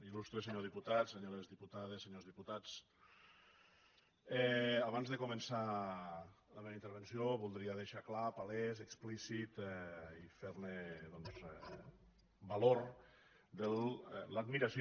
il·lustre senyor di·putat senyores diputades i senyors diputats abans de començar la meva intervenció voldria deixar clar pa·lès explícit i fer·ne valor de l’admiració